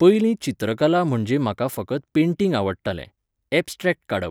पयलीं चित्रकला म्हणजे म्हाका फकत पँटिग आवडटालें, एब्सट्रॅक्ट काडप.